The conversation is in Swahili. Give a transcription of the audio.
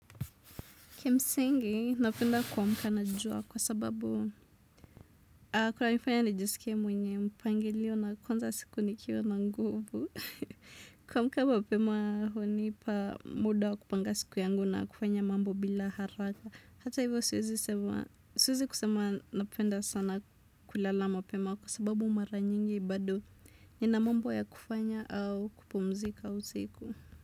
Kimsingi napenda kuamka na jua kwa sababu kunanifanya nijiskie mwenye mpangilio na kuanza siku nikiwa na nguvu. Kuamka mapema hunipa muda wa kupanga siku yangu na kufanya mambo bila haraka. Hata hivyo siwezi kusema napenda sana kulala mapema kwa sababu mara nyingi bado nina mambo ya kufanya au kupumzika usiku.